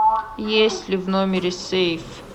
есть ли в номере сейф